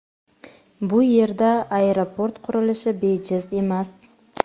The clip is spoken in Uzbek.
Bu yerda aeroport qurilishi bejiz emas.